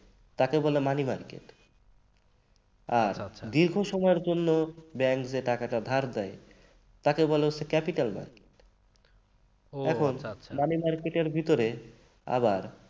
তাকে বলে money market আর দীর্ঘ সময়ের জন্য bank যে টাকাটা ধার দেয় তাকে বলা হয় capital market । এখন money market এর ভিতরে আবার